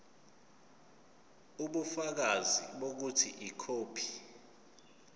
ubufakazi bokuthi ikhophi